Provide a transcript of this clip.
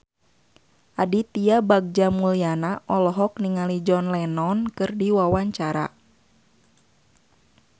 Aditya Bagja Mulyana olohok ningali John Lennon keur diwawancara